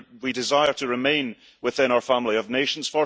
We desire to remain within our family of nations